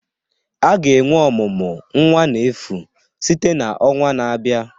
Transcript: A ga-enwe ọmụmụ nwa n'efu site na ọnwa na-abịa